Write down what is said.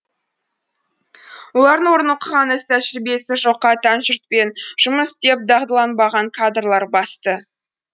олардың орнын оқыған іс тәжірибесі жоққа тән жұртпен жұмыс істеп дағдыланбаған кадрлар басты